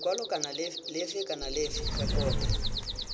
lekwalo lefe kana lefe rekota